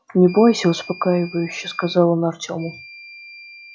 не бойся успокаивающе сказал он артему